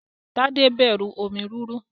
Tade n bẹrù omi rúru.